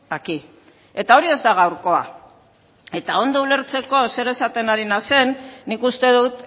aquí eta hori ez da gaurkoa eta ondo ulertzeko zer esaten ari naizen nik uste dut